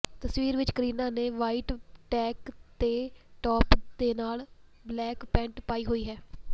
ਤਸਵੀਰ ਵਿਚ ਕਰੀਨਾ ਨੇ ਵ੍ਹਾਈਟ ਟੈਂਕ ਦੇ ਟਾਪ ਦੇ ਨਾਲ ਬਲੈਕ ਪੈਂਟ ਪਾਈ ਹੋਈ ਹੈ